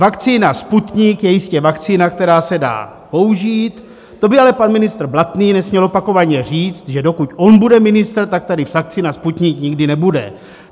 Vakcína Sputnik je jistě vakcína, která se dá použít, to by ale pan ministr Blatný nesměl opakovaně říct, že dokud on bude ministr, tak tady vakcína Sputnik nikdy nebude.